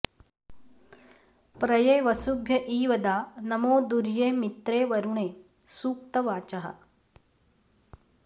प्र ये वसु॑भ्य॒ ईव॒दा नमो॒ दुर्ये मि॒त्रे वरु॑णे सू॒क्तवा॑चः